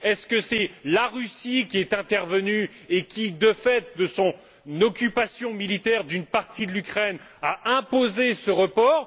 Est ce la Russie qui est intervenue et qui, du fait de son occupation militaire d'une partie de l'Ukraine, a imposé ce report?